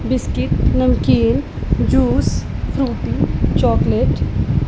biscuit नमकीन juice Frooti chocolate --